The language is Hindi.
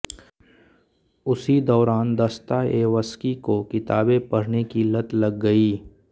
उसी दौरान दस्ताएवस्की को किताबें पढ़ने की लत लग गई